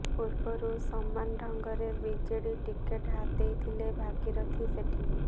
ପୂର୍ବରୁ ସମାନ ଢଙ୍ଗରେ ବିଜେଡି ଟିକେଟ ହାତେଇଥିଲେ ଭାଗିରଥୀ ସେଠୀ